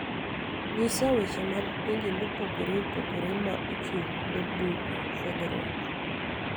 nyisa weche mag pinje mopogore opogore ma ochung�ne bug fwenyruok